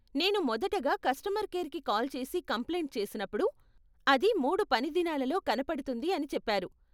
నేను మొదటగా కస్టమర్ కేర్కి కాల్ చేసి కంప్లైంట్ చేసినప్పుడు, అది మూడు పని దినాలలో కనపడుతుంది అని చెప్పారు.